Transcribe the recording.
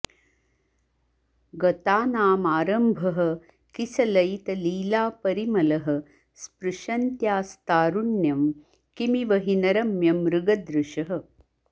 गतानामारम्भः किसलयितलीलापरिमलः स्पृशन्त्यास्तारुण्यं किमिव हि न रम्यं मृगदृशः